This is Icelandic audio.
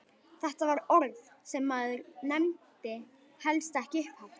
Þetta var orð sem maður nefndi helst ekki upphátt!